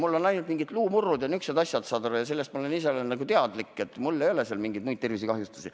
Mul on olnud ainult mingisugused luumurrud ja nihukesed asjad ning neist olen ma ise teadlik, mul ei ole mingeid muid tervisekahjustusi.